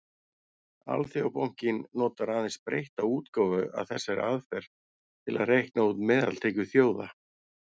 Alþjóðabankinn notar aðeins breytta útgáfu af þessari aðferð til að reikna út meðaltekjur þjóða.